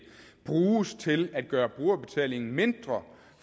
bruges til at gøre brugerbetalingen mindre